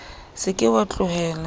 o se ke wa tlohela